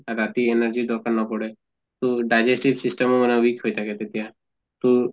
ৰাতি energy ৰ দৰকাৰ নপৰে, তহ digestive system ও weak হৈ থাকে তেতিয়া তʼ